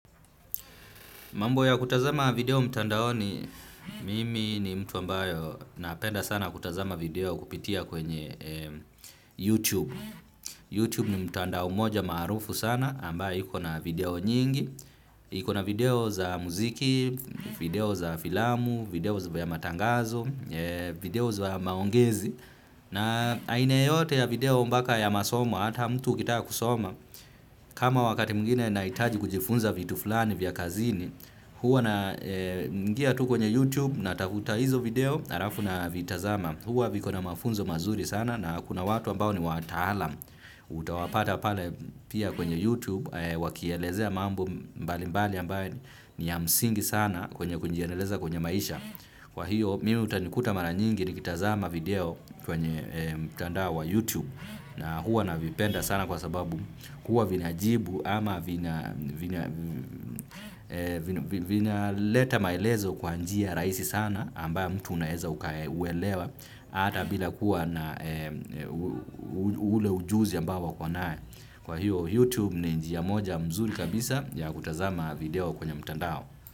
Mambo ya kutazama video mtandaoni mimi ni mtu ambayo napenda sana kutazama video kupitia kwenye youTube. YouTube ni mtandao moja maarufu sana ambayo iko na video nyingi, iko na video za muziki, video za filamu, video za ya matangazo, video za ya maongezi. Na aine yoyote ya video mbaka ya masomo ata mtu ukitaka kusoma kama wakati mwibginr nahitaji kujifunza vitu fulani vya kazini huwa na ngia tu kwenye YouTube natafuta hizo video harafu na vitazama huwa viko na mafunzo mazuri sana na kuna watu ambao ni watala utawapata pale pia kwenye YouTube wakielezea mambo mbalimbali ambayo ni ya msingi sana kwenye kujiendeleza kwenye maisha kwa hiyo mimi utanikuta mara nyingi. Nikitazama video kwenye mtandao wa YouTube na huwa navipenda sana kwa sababu huwa vinajibu ama vinaleta maelezo kwa njia rahisi sana ambayo mtu unaeza uwelewa ata bila kuwa na ule ujuzi ambao wako nae. Kwa hiyo YouTube ni njia moja mzuri kabisa ya kutazama video kwenye mtandao.